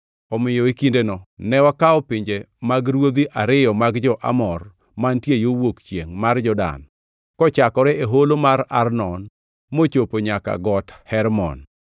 Omiyo e kindeno ne wakawo pinje mag ruodhi ariyo mag jo-Amor, mantie yo wuok chiengʼ mar Jordan, kochakore e holo mar Arnon mochopo nyaka Got Hermon.